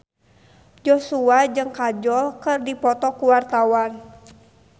Joshua jeung Kajol keur dipoto ku wartawan